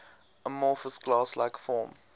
amorphous glass like form